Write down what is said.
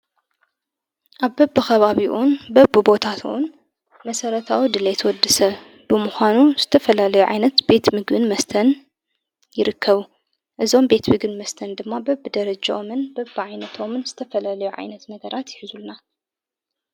ኣብ በቢ ኸባቢኡን በብ ቦታትዉን መሠረታዊ ድልየት ወድሰ ብምዃኑ ዝተፈላለዮ ዓይነት ቤት ምግን መስተን ይርከቡ እዞም ቤት ቢግን መስተን ድማ በብ ደረጀኦምን በብ ዓይነቶምን ዝተፈለለዮ ዓይነት ነገራት ይሕዙልና።